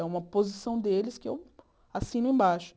É uma posição deles que eu assino embaixo.